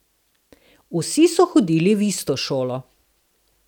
Vsi so hodili v isto šolo.